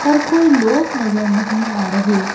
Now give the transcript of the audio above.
पर कोई लोग नजर नहीं आ रहे--